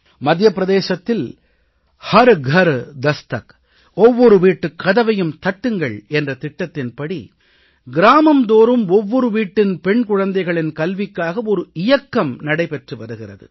மத்திய பிரதேசத்தில் हर घर दस्तक ஒவ்வொரு வீட்டுக் கதவையும் தட்டுங்கள் என்ற திட்டத்தின்படி கிராமம் தோறும் ஒவ்வொரு வீட்டின் பெண் குழந்தைகளின் கல்விக்காக ஒரு இயக்கம் நடைபெற்று வருகிறது